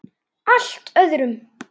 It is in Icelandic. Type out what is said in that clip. Allt öðrum.